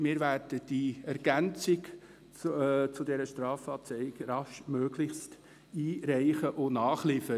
Wir werden diese Ergänzung zur Strafanzeige raschestmöglich einreichen und nachliefern.